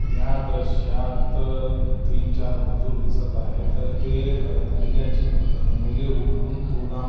या दृश्यात तीन चार मजूर दिसत आहेत ते अह थैल्याची म थैली उठवून गोदाम--